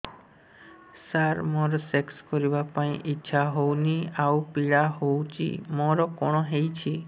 ସାର ମୋର ସେକ୍ସ କରିବା ପାଇଁ ଇଚ୍ଛା ହଉନି ଆଉ ପୀଡା ହଉଚି ମୋର କଣ ହେଇଛି